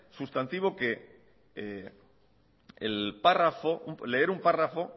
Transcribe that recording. sustantivo que el párrafo leer un párrafo